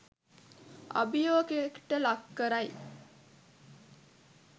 අභියෝගයට ලක් කරයි.